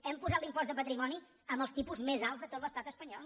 hem posat l’impost de patrimoni amb els tipus més alts de tot l’estat espanyol